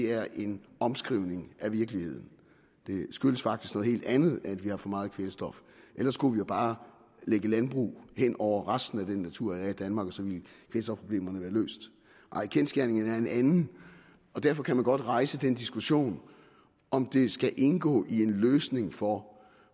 er en omskrivning af virkeligheden det skyldes faktisk noget helt andet at vi har for meget kvælstof ellers kunne vi jo bare lægge landbrug hen over resten af den natur der er i danmark og så ville kvælstofproblemerne være løst nej kendsgerningen er en anden og derfor kan man godt rejse den diskussion om det skal indgå i en løsning for